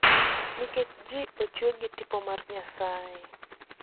Nikech ji ochue gi tipo mar Nyasaye.